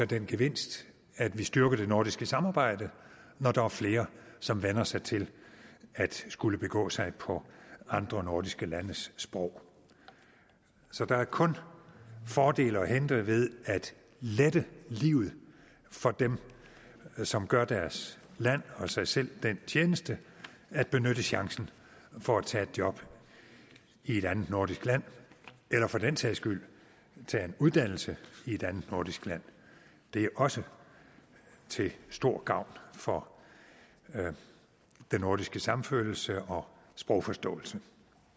den gevinst at vi styrker det nordiske samarbejde når der er flere som vænner sig til at skulle begå sig på andre nordiske landes sprog så der er kun fordele at hente ved at lette livet for dem som gør deres land og sig selv den tjeneste at benytte chancen for at tage et job i et andet nordisk land eller for den sags skyld tage en uddannelse i et andet nordisk land det er også til stor gavn for den nordiske samfølelse og sprogforståelse